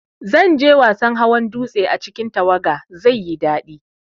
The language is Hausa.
Zanje wasan hawan dutse a cikin tawaga, zaiyi dadi